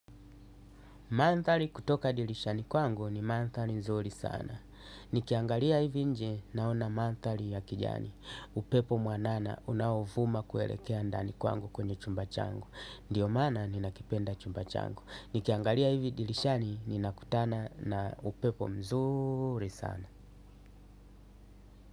Mandhari kutoka dirishani kwangu ni mandhari nzuri sana. Nikiangalia hivi nje naona mandhari ya kijani. Upepo mwanana unaovuma kuelekea ndani kwangu kwenye chumba changu. Ndiyo maana ninakipenda chumba changu. Nikiangalia hivi dirishani ninakutana na upepo mzuri sana.